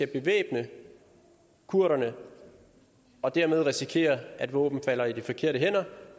bevæbne kurderne og dermed risikere at våbnene falder i de forkerte hænder